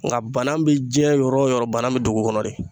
Nka bana bɛ diɲɛ yɔrɔ o yɔrɔ bana bɛ dugu kɔnɔ de.